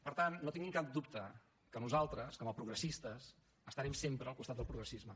per tant no tingui cap dubte que nosaltres com a progressistes estarem sempre al costat del progressisme